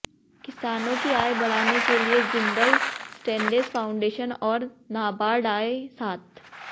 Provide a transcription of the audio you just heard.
किसानों की आय बढ़ाने के लिए जिंदल स्टेनलेस फाउंडेशन और नाबार्ड आए साथ